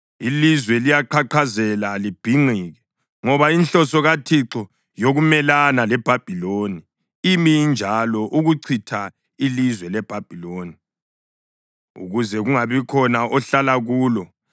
Ilizwe liyaqhaqhazela libhinqike ngoba inhloso kaThixo yokumelana leBhabhiloni imi injalo ukuchitha ilizwe leBhabhiloni ukuze kungabikhona ohlala kulo.